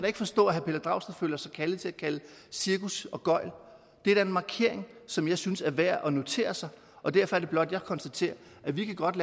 ikke forstå at herre pelle dragsted føler sig kaldet til at kalde cirkus og gøgl det er da en markering som jeg synes er værd at notere sig og derfor er det blot jeg konstaterer at vi godt